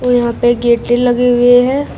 और यहां पे लगी हुई है।